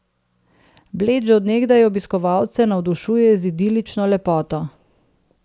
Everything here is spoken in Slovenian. Bled že od nekdaj obiskovalce navdušuje z idilično lepoto.